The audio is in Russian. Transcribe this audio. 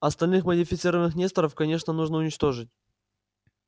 остальных модифицированных несторов конечно нужно уничтожить